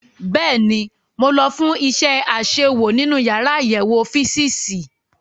Bẹ́ẹ̀ni, mo lọ fún iṣẹ́ àṣewò nínú yàrá àyẹ̀wò físììsì.